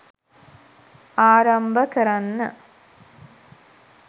ආරම්භ කරන්න